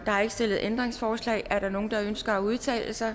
er ikke stillet ændringsforslag er der nogen der ønsker at udtale sig